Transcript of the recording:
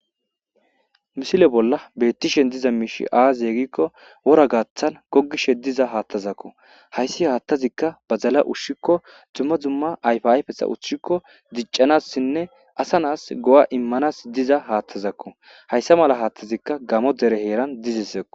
Misile bolla bettishen diza miishi aaziye gikko wora gaaththan gogishe diza haattazakko hayssi haattazikka ba zala ushshikko dumma zumma ayfiayfesa uchikko diccanassinne asa naas go7a immanas diza haattazakko hayssa mala haattazikka gamo dere heeran dizisekko.